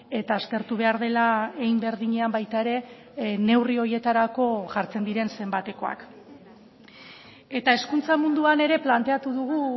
eta aztertu behar dela hein berdinean baita ere neurri horietarako jartzen diren zenbatekoak eta hezkuntza munduan ere planteatu dugu